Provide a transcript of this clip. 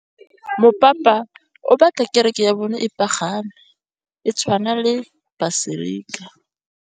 Mopapa o batla kereke ya bone e pagame, e tshwane le paselika.